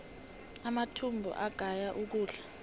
amathumbu agaya ukudla